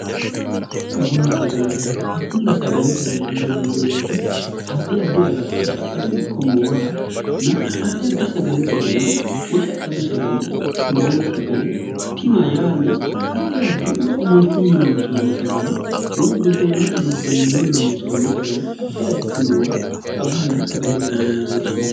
agunna sagalete mene yinanni beete addi addi agatto shaqqadu ikko moola na addi addi sagalete dani woy shaqqadu sagale moola sagale tima yaanna addi addi woy omolchunni loonsoonni sagale woy buddeena buddeenne loonsoonni sagale atti additinoowa agunna sagalete mine woshshn